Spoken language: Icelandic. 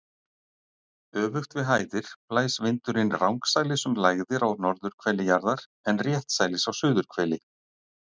Öfugt við hæðir blæs vindurinn rangsælis um lægðir á norðurhveli jarðar en réttsælis á suðurhveli.